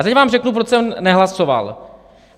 A teď vám řeknu, proč jsem nehlasoval.